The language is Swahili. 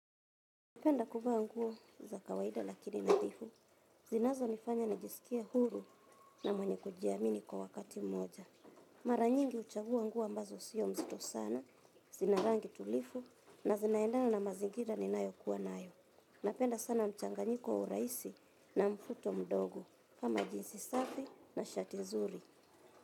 Napenda kuvaa nguo za kawaida lakini nadhifu, zinazonifanya najisikia huru na mwenye kujiamini kwa wakati mmoja. Mara nyingi huchagua nguo ambazo sio nzito sana, zina rangi tulivu na zinaendana na mazingira ninayo kuwa nayo. Napenda sana mchanganyiko wa urahisi na mvuto mdogo, kama jinsi safi na shati nzuri.